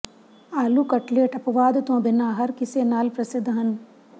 ਆਲੂ ਕਟਲੈਟ ਅਪਵਾਦ ਤੋਂ ਬਿਨਾਂ ਹਰ ਕਿਸੇ ਨਾਲ ਪ੍ਰਸਿੱਧ ਹਨ